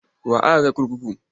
Wa aka kai kurkuku?